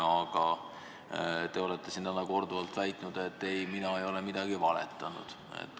Aga teie olete siin täna korduvalt väitnud, et ei, teie ei ole midagi valetanud.